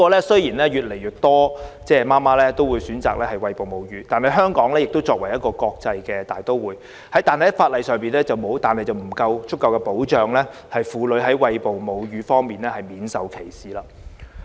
雖然越來越多母親選擇餵哺母乳，香港作為國際大都會，在法例上卻未有提供足夠保障，令婦女在餵哺母乳時免受歧視。